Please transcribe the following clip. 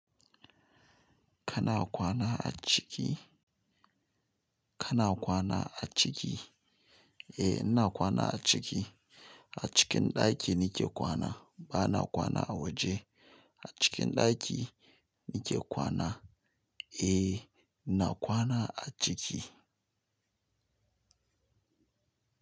Kana kwana a ciki? Kana kwana a ciki? Eh, ina kwana a ciki. A cikin ɗaki nike kwana ba na kwana a waje. A cikin ɗaki nike kwana. Eh, ina kwana a ciki.